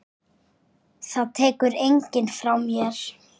Það tekur enginn frá mér.